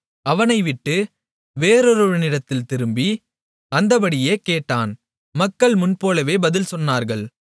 அவனை விட்டு வேறொருவனிடத்தில் திரும்பி அந்தப்படியே கேட்டான் மக்கள் முன்போலவே பதில் சொன்னார்கள்